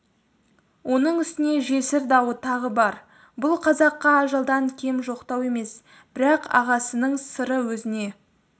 оның үстіне жесір дауы тағы бар бұл қазаққа ажалдан кем жоқтау емес бірақ ағасының сыры өзіне